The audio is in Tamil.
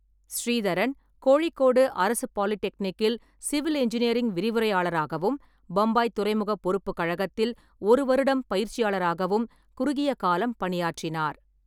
ஸ்ரீதரன் கோழிக்கோடு அரசு பாலிடெக்னிக்கில் சிவில் இன்ஜினியரிங் விரிவுரையாளராகவும், பம்பாய் துறைமுகப் பொறுப்புக் கழகத்தில் ஒரு வருடம் பயிற்சியாளராகவும் குறுகிய காலம் பணியாற்றினார்.